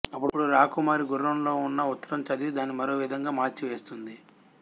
అప్పుడు రాకుమారి గుర్రంలో ఉన్న ఉత్తరం చదివి దాన్ని మరో విధంగా మార్చివేస్తుంది